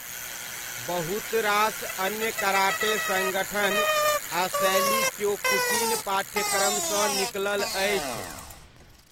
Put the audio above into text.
बहुत रास अन्य कराटे सङ्गठन आ शैली क्योकुशिन पाठ्यक्रमसँ निकलल अछि।